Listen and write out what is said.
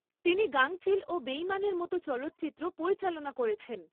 তিনি গাংচিল ও বেইমানের মত চলচ্চিত্র পরিচালনা করেছেন।